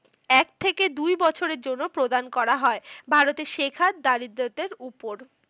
এক থেকে দুই বছরের জন্য প্রদান করা হয়। ভারতের শেখার দারিদ্রতার উপর।